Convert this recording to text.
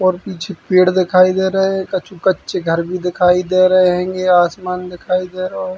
और पीछे पेड़ दिखाई दे रए कछु कच्चे घर भी दिखाई दे रहे हेंगे आसमान दिखाई दे रओ है।